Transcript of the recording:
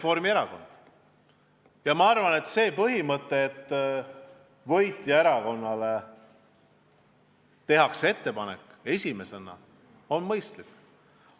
Minu arvates põhimõte, et võitjaerakonnale tehakse ettepanek valitsus moodustada esimesena, on mõistlik.